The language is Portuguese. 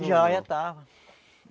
Já, já estava.